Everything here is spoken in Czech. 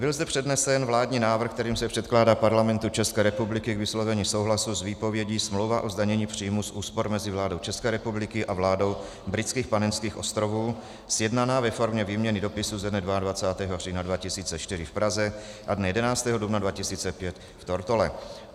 Byl zde přednesen vládní návrh, kterým se předkládá Parlamentu České republiky k vyslovení souhlasu s výpovědí Smlouva o zdanění příjmů z úspor mezi vládou České republiky a vládou Britských Panenských ostrovů, sjednaná ve formě výměny dopisů ze dne 22. října 2004 v Praze a dne 11. dubna 2005 v Tortole.